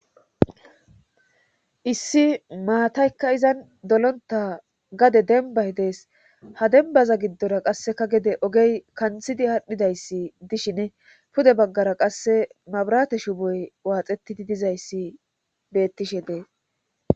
issi maataykka izan dolonta gade denbay dees ha dembaza giddora qasseka gede ogey kanthidi hadhidayssi dishine pude baggara qasse mabarate shuboy waaxetidi dizayssi bettishe dees